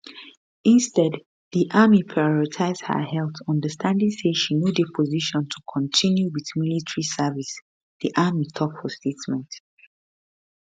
instead di army prioritise her health understanding say she no dey position to continue wit military service di army tok for statement